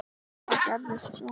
Hvað gerðist svo?